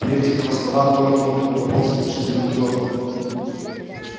при этих его словах торт рухнул на пол с оглушительным грохотом